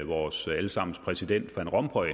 vores alle sammens præsident van rompuy